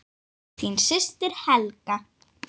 Þín systir Helga.